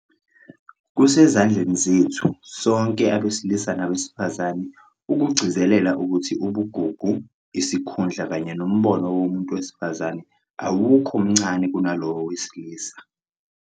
Kusezandleni zethu - sonke abesilisa nabesifazane - ukugcizelela ukuthi ubugugu, isikhundla kanye nombono womuntu wesifazane awukho mncane kunalowo wowesilisa.